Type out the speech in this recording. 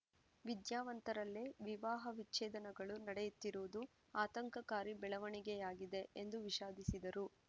ವಿದ್ಯಾವಂತರಲ್ಲೇ ವಿವಾಹ ವಿಚ್ಛೇದನಗಳು ನಡೆಯುತ್ತಿರುವುದು ಆತಂಕಕಾರಿ ಬೆಳವಣಿಗೆಯಾಗಿದೆ ಎಂದು ವಿಷಾದಿಸಿದರು